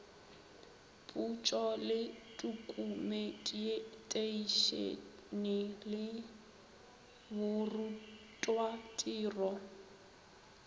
potšo le tokumeteišene le borutwatiro